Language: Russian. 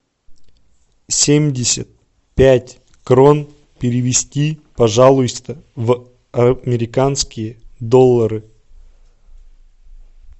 семьдесят пять крон перевести пожалуйста в американские доллары